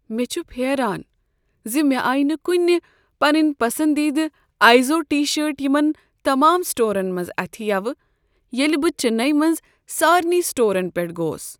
مےٚ چھُ پھیران ز مےٚ آیہ نہ کنہ پنٕنۍ پسندیدٕ آیزوڈ ٹی شرٹ یمن تمام سٹورن منٛز اتھِ یوٕ ییٚلہ بہ چننے منز سارنٕے سٹورن پیٹھ گوس۔